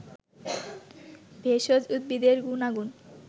ভেষজ উদ্ভিদের গুনাগুন